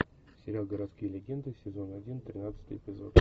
сериал городские легенды сезон один тринадцатый эпизод